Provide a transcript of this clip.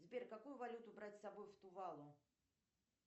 сбер какую валюту брать с собой в тувалу